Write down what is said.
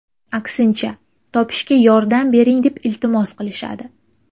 Aksincha, topishga yordam bering deb iltimos qilishadi.